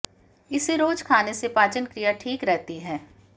इसे रोज खाने से पाचन क्रिया ठीक रहती है